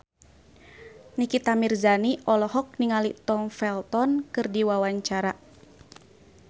Nikita Mirzani olohok ningali Tom Felton keur diwawancara